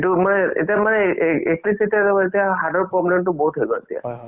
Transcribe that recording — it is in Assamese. তাকে মানে ধৰা movies কেইটা চালে মানে basically কি হয়